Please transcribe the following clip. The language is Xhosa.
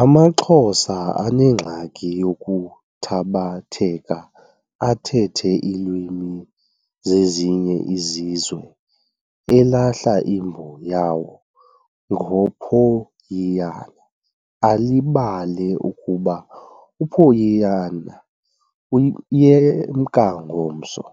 AmaXhosa anengxaki yokuthabatheka athethe iilwimi zezinye izizwe elahla imbo yawo ngophoyiyana alibale ukuba uphoyiyana uyemka ngomso.